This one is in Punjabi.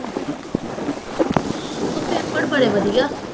ਹੋਰ ਓਹ ਪੇਪਰ ਬੜੇ ਵਧੀਆ।